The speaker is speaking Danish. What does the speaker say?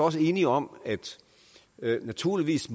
enige om at naturligvis